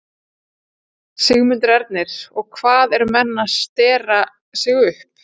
Sigmundur Ernir: Og hvað, eru menn að stera sig upp?